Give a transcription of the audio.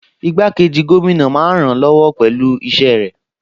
Igbákejì gómìnà a máa ràn-án lọ́wọ́ pẹ̀lú iṣẹ́ rẹ̀